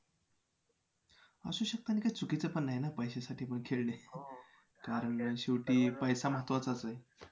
असू शकतं आणि काय चुकीचं पण नाही ना पैशासाठीपण खेळणे. कारण शेवटी पैसा महत्वाचाच आहे.